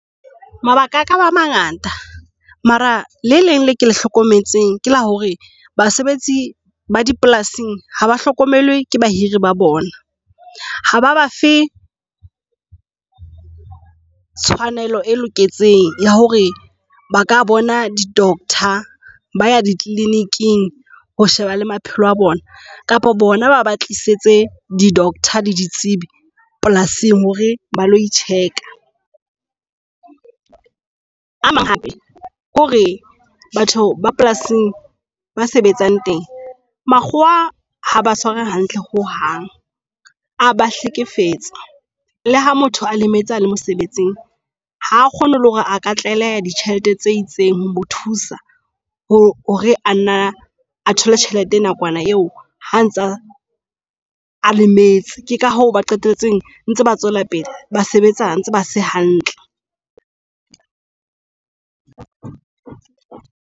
Mabaka aka ba mangata mara le leng le ke le hlokometseng ke la hore basebetsi ba dipolasing ha ba hlokomelwe ke bahiri ba bona. Ha ba ba fe tshwanelo e loketseng ya hore ba ka bona di doctor ba ya di kliniking ho sheba le maphelo a bona kapa bona ba ba tlisetse di doctor le ditsebi polasing hore ba loi check-a. A mang hape ke hore batho ba polasing ba sebetsang teng makgowa haba tshwara hantle ho hang aba hlekefetsa. Le ha motho a lemetse a le mosebetsing, ha kgone le hore a ka tlaleha ditjhelete tse itseng ho mo thusa hore ana a thole tjhelete nakwana eo ha ntsa a lemetse ka ho ba qetelletse ntse ba tswela pele ba sebetsa ntse ba se hantle.